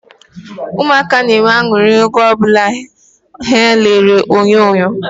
Ụmụaka na-enwe anuri nke ukwuu oge o bula ha na elele onyonyo